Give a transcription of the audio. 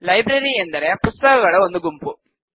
library ಎಂದರೆ ಪುಸ್ತಕಗಳ ಒಂದು ಗುಂಪು